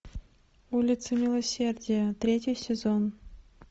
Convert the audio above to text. улица милосердия третий сезон